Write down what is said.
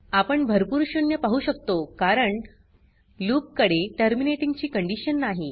आपण भरपूर शून्य पाहु शकतो कारण लूप कडे टर्मिनेटिंग ची कंडीशन नाही